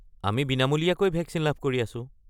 আমি বিনামূলীয়াকৈ ভেকচিন লাভ কৰি আছোঁ।